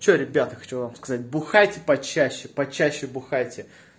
что ребята хочу вам сказать бухайте почаще почаще бухайте